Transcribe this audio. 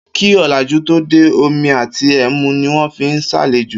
Kí ò̩làjú tó dé, omi àti e̩mu ni wó̩n fi ń s̩àlejò